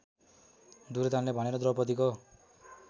दुर्योधनले भनेर द्रौपदीको